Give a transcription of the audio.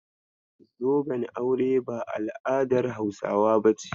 Zoben aure ba al'adar Hausawa bace.